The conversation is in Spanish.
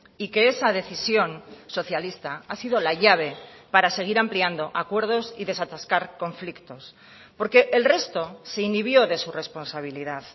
y que esa decisión socialista ha sido la llave para seguir ampliando acuerdos y desatascar conflictos porque el resto se inhibió de su responsabilidad